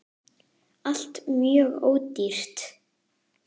ALLT MJÖG ÓDÝRT!